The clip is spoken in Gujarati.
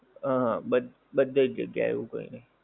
હા હા, બદ્ બધેજ જગ્યા એ એવું જ હોય ને.